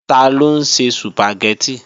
Taló ń se Sùpàgẹ́tì?